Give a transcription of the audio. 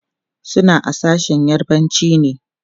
suna a sashen yarbanci ne